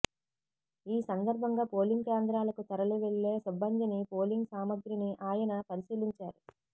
ఈ సందర్భంగా పోలింగ్ కేంద్రాలకు తరలి వెళ్లే సిబ్బందిని పోలింగ్ సామాగ్రిని ఆయన పరిశీలించారు